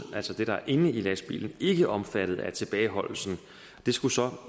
altså det der er inde i lastbilen ikke omfattet af tilbageholdelsen det skulle så